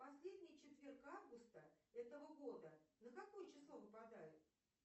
последний четверг августа этого года на какое число выпадает